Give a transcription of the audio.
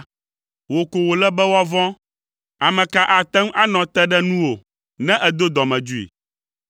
Wò ko wòle be woavɔ̃. Ame ka ate ŋu anɔ te ɖe nuwò ne èdo dɔmedzoe?